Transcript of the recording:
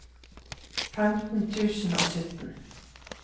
femten tusen og sytten